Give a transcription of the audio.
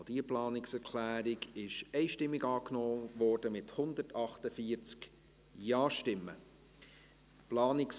Sie haben die Planungserklärung 4 einstimmig angenommen, mit 148 Ja- gegen 0 NeinStimmen bei 0 Enthaltungen.